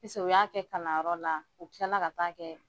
Pise u y'a kɛ kalanyɔrɔ la u kilala ka taa kɛ